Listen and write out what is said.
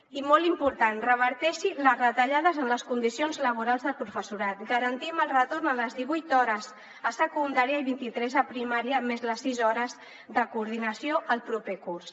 i molt important reverteixi les retallades en les condicions laborals del professorat garantim el retorn a les divuit hores a secundària i vint i tres a primària més les sis hores de coordinació el proper curs